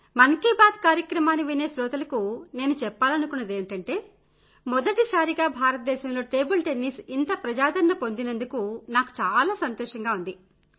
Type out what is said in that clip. మన్ కీ బాత్ కార్యక్రమాన్ని వినే శ్రోతలకు నేను చెప్పాలనుకున్నదేమిటంటే మొదటిసారిగా భారతదేశంలో టేబుల్ టెన్నిస్ ఇంత ప్రజాదరణ పొందినందుకు నాకు చాలా సంతోషంగా ఉంది